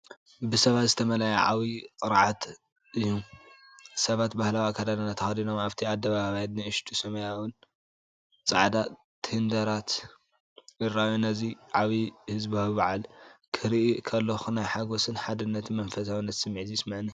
ብሰባት ዝተመልአ ዓብዪ ቅርዓት እዩ። ሰባት ባህላዊ ኣከዳድና ተኸዲኖም ኣብቲ ኣደባባይ ንኣሽቱ ሰማያውን ጻዕዳን ቴንዳታት ይረኣዩ። ነዚ ዓቢ ህዝባዊ በዓል ክርኢ ከለኹ ናይ ሓጎስን ሓድነትን መንፈሳውነትን ስምዒት ይስምዓኒ።